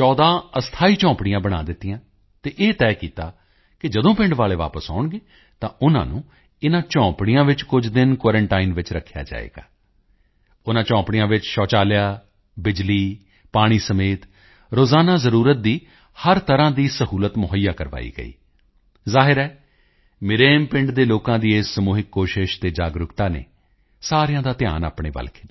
14 ਅਸਥਾਈ ਝੌਂਪੜੀਆਂ ਬਣਾ ਦਿੱਤੀਆਂ ਅਤੇ ਇਹ ਤੈਅ ਕੀਤਾ ਕਿ ਜਦੋਂ ਪਿੰਡ ਵਾਲੇ ਵਾਪਸ ਆਉਣਗੇ ਤਾਂ ਉਨ੍ਹਾਂ ਨੂੰ ਇਨ੍ਹਾਂ ਝੌਂਪੜੀਆਂ ਵਿੱਚ ਕੁਝ ਦਿਨ ਕੁਆਰੰਟਾਈਨ ਵਿੱਚ ਰੱਖਿਆ ਜਾਵੇਗਾ ਉਨ੍ਹਾਂ ਝੌਂਪੜੀਆਂ ਵਿੱਚ ਸ਼ੌਚਾਲਿਆ ਬਿਜਲੀ ਪਾਣੀ ਸਮੇਤ ਰੋਜ਼ਾਨਾ ਜ਼ਰੂਰਤ ਦੀ ਹਰ ਤਰ੍ਹਾਂ ਦੀ ਸਹੂਲਤ ਮੁਹੱਈਆ ਕਰਵਾਈ ਗਈ ਜ਼ਾਹਿਰ ਹੈ ਮਿਰੇਮ ਪਿੰਡ ਦੇ ਲੋਕਾਂ ਦੀ ਇਸ ਸਮੂਹਿਕ ਕੋਸ਼ਿਸ਼ ਅਤੇ ਜਾਗਰੂਕਤਾ ਨੇ ਸਾਰਿਆਂ ਦਾ ਧਿਆਨ ਆਪਣੇ ਵੱਲ ਖਿੱਚਿਆ